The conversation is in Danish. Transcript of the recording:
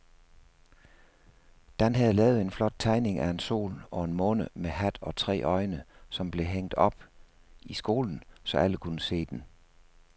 Dan havde lavet en flot tegning af en sol og en måne med hat og tre øjne, som blev hængt op i skolen, så alle kunne se den.